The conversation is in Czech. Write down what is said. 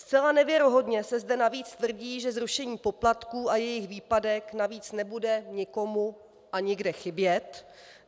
Zcela nevěrohodně se zde navíc tvrdí, že zrušení poplatků a jejich výpadek navíc nebude nikomu a nikde chybět.